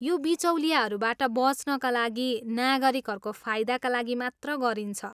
यो बिचौलियाहरूबाट बच्नका लागि नागरिकहरूको फाइदाका लागि मात्र गरिन्छ।